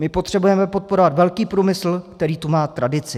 My potřebujeme podporovat velký průmysl, který tu má tradici."